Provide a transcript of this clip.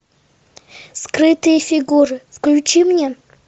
скрытые фигуры включи мне